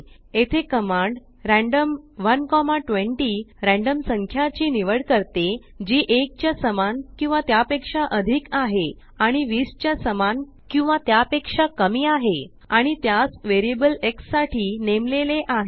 येथे command random 120 random संख्याची निवड करते जी 1 च्या समान किंवा त्यापेक्षा अधिक आहे आणि 20 च्या समान किंवा त्यापेक्षा कमी आहे आणि त्यास वेरियबल xसाठी नेमलेले आहे